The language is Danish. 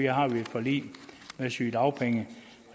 har vi et forlig om sygedagpenge